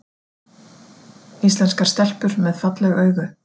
Íslenskar stelpur með falleg augu